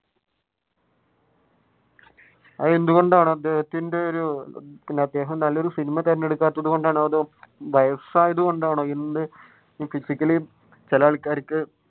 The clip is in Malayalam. അതെന്തുകൊണ്ടാണ് അദ്ദേഹത്തിന്റെ പിന്നെ ഒരു അദ്ദേഹം നല്ല ഒരു സിനിമ തിരഞ്ഞെടുക്കാത്തതു കൊണ്ടാണോ അതോ വയസ്സായതുകൊണ്ടാണോ physically ചില ആൾക്കാർക്ക്